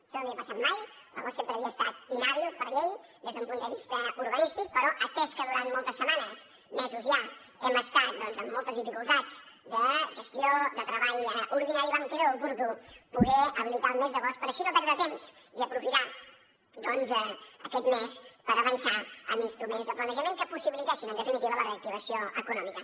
això no havia passat mai l’agost sempre havia estat inhàbil per llei des d’un punt de vista urbanístic però atès que durant moltes setmanes mesos ja hem estat doncs amb moltes dificultats de gestió de treball ordinari vam creure oportú poder habilitar el mes d’agost per així no perdre temps i aprofitar aquest mes per avançar en instruments de planejament que possibilitessin en definitiva la reactivació econòmica